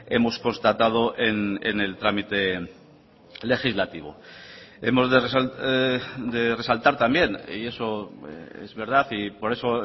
hemos constatado en el trámite legislativo hemos de resaltar también y eso es verdad y por eso